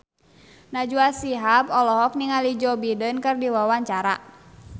Najwa Shihab olohok ningali Joe Biden keur diwawancara